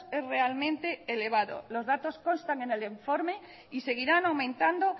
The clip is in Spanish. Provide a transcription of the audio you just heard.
es realmente elevado los datos constan en el informe y seguirán aumentando